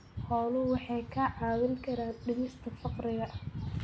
Xooluhu waxay kaa caawin karaan dhimista faqriga.